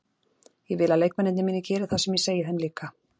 Ég vil að leikmennirnir mínir geri það sem ég segi þeim líka.